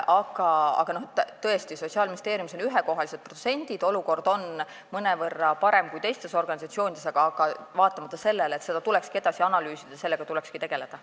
Tõesti, Sotsiaalministeeriumis on ühekohalised protsendid, olukord on mõnevõrra parem kui teistes organisatsioonides, aga vaatamata sellele tulekski seda edasi analüüsida, sellega tulekski tegeleda.